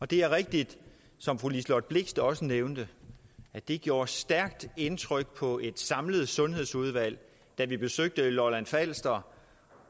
det er rigtigt som fru liselott blixt også nævnte at det gjorde et stærkt indtryk på et samlet sundhedsudvalg da vi besøgte lolland falster